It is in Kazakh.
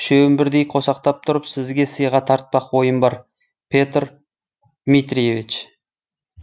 үшеуін бірдей қосақтап тұрып сізге сыйға тартпақ ойым бар петр дмитриевич